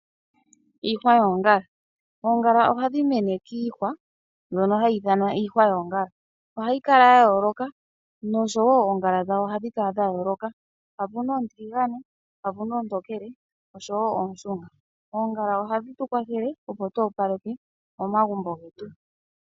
Iihwa yoongala, oongala ohadhi mene kiihwa mbyono hayi ithanwa iihwa yoongala, ohayi kala yayooloka nosho wo oongala dhawo ohadhi kala dhayooloka mpa puna oontiligane mpa puna oontokele osho wo ooshunga. Oongala ohadhi tukwathele opo tu opaleke momagumbo getu.